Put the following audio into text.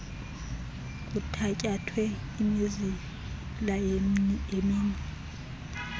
kuthatyathwe imizila yeminwe